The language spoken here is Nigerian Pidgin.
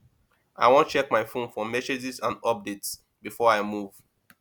i wan check my fone for messages and updates before i move